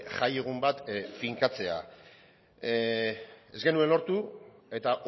jaiegun bat finkatzea ez genuen lortu eta